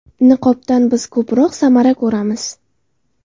Niqobdan biz ko‘proq samara ko‘ramiz.